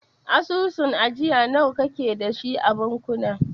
Asusun ajiya nawa kake dashi a bankuna?